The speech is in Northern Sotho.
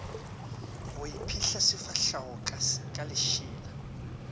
go iphihla sefahlego ka lešela